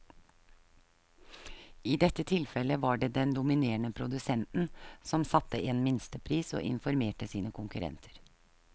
I dette tilfellet var det den dominerende produsenten som satte en minstepris og informerte sine konkurrenter.